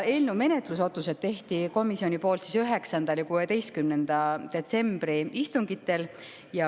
Eelnõu menetlusotsused tegi komisjon 9. ja 16. detsembri istungil.